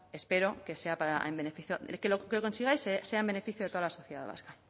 espero que sea en beneficio que lo que consigáis sea en beneficio de toda la sociedad vasca